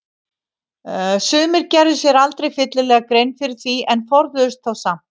Sumir gerðu sér aldrei fyllilega grein fyrir því en forðuðust þá samt.